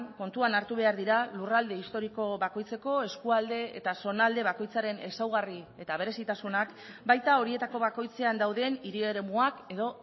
kontuan hartu behar dira lurralde historiko bakoitzeko eskualde eta zonalde bakoitzaren ezaugarri eta berezitasunak baita horietako bakoitzean dauden hiri eremuak edo